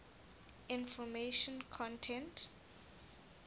information content